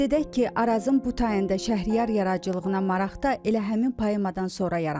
Qeyd edək ki, Arazın bu tayında Şəhriyar yaradıcılığına maraq da elə həmin poemadan sonra yaranır.